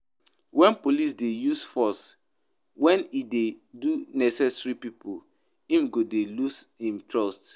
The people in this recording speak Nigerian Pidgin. When police de use force when e no de necessary pipo um go de loose um trust um